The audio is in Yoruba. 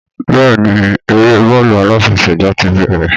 Bẹ́ẹ̀ ni, eré bọ́ọ̀lù aláfẹsẹ̀gbá ti bẹ̀rẹ̀